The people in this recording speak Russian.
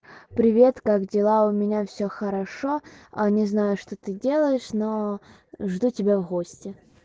привет как дела у меня все хорошо а не знаю что ты делаешь но жду тебя в гости